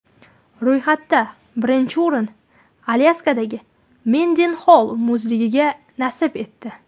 Ro‘yxatda birinchi o‘rin Alyaskadagi Mendenxoll muzligiga nasib etdi.